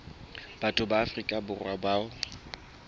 batho ba afrika borwa bao